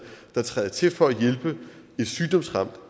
der træder til for at hjælpe et sygdomsramt